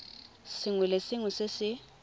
sengwe le sengwe se se